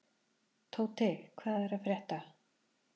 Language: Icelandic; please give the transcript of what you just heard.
Tóti, hvað er að frétta?